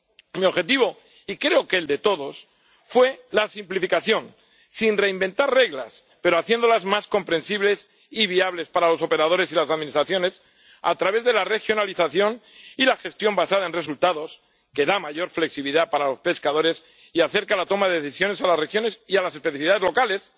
Mi objetivo, y creo que el de todos, fue la simplificación, sin reinventar reglas, pero haciéndolas más comprensibles y viables para los operadores y las administraciones, a través de la regionalización y la gestión basada en resultados, que da mayor flexibilidad a los pescadores y acerca la toma de decisiones a las regiones y a las especificidades locales,